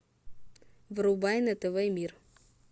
врубай на тв мир